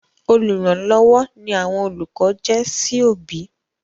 Olùrànlọ́wọ́ ni àwọn olùkọ jẹ́ sí òbí.